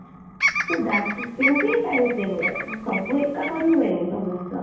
so that ସେମିତି ହିଁ time ଏମତି ହୁଏ, ସବୁ ଏକା କରି ହୁଏନି, ସବୁ ଜିନିଷ